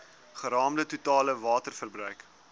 geraamde totale waterverbruik